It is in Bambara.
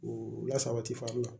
O la sabati fana